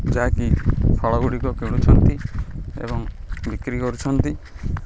ଯାହା କି ଫଳ ଗୁଡ଼ିକ କିଣୁଛନ୍ତି ଏବଂ ବିକ୍ରୀ କରୁଛନ୍ତି।